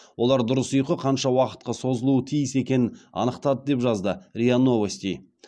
олар дұрыс ұйқы қанша уақытқа созылуы тиіс екенін анықтады деп жазды риа новости